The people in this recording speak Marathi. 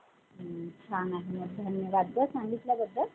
हुं. छान आहे. धन्यवाद गं सांगितल्याबद्द्दल.